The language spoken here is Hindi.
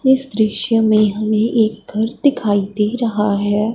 इस दृश्य में हमें एक घर दिखाई दे रहा है।